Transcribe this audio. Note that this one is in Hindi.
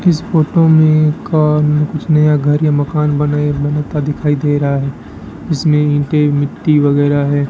इस फोटो में कौन कुछ नया घर या मकान बने बनता दिखाई दे रहा है इसमें ईंटें मिट्टी वगैरह है।